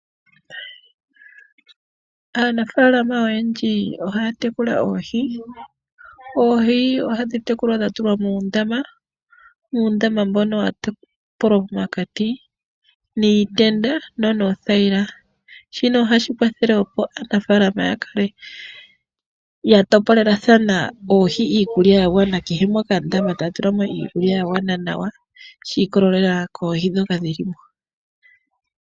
Aanafaalama oyendji ohaya tekula Oohi. Oohi ohadhi tekulwa dha tulwa muundama, uundama mbono wa topolwa pomakati niitenda no noothayila. Shino ohashi kwathele opo aanafaalama ya kale ya topolelathana Oohi iikulya ya gwana, kehe mokandama taya tulamo iikulya ya gwana nawa shi ikolelela kOohi dhoka dhi limo.